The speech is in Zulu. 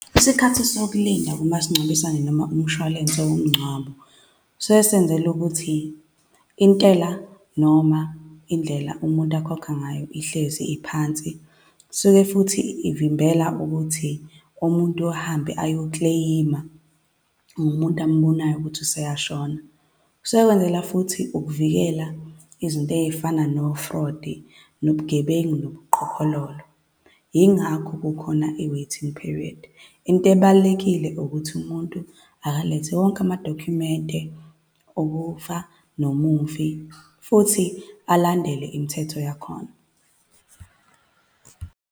Isikhathi sokulinda kumasingcwabisane noma umshwalense womngcwabo suke senzelwa ukuthi intela noma indlela umuntu akhokha ngayo ihlezi iphansi. Kusuke futhi ivimbela ukuthi umuntu ahambe ayo-claim-a ngomuntu ambonayo ukuthi useyashona. Kusuke kwenzelwa futhi ukuvikela izinto ey'fana no-fraud, nobugebengu, nobuqhophololo, yingakho kukhona i-waiting period. Into ebalulekile ukuthi umuntu akalethe wonke amadokhumenti okufa, nomufi, futhi alandele imithetho yakhona.